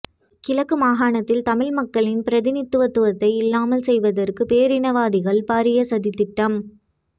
கிழக்கு மாகாணத்தில் தமிழ் மக்களின் பிரதிநிதித்துவத்தை இல்லாமல் செய்வதற்கு பேரினவாதிகள் பாரிய சதித்திட்டம்